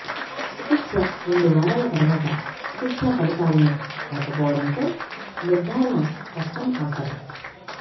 చికిత్స రెండు వారాల తర్వాత చికిత్సా ఫలితాలను లేకపోవడంతో నిర్ధారణ స్పష్టం అవసరం